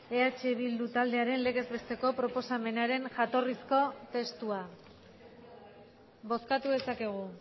eh bildu taldearen legez besteko proposamenaren jatorrizko testua bozkatu dezakegu